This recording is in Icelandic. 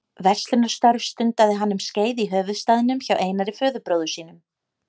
Verslunarstörf stundaði hann um skeið í höfuðstaðnum hjá Einari föðurbróður sínum.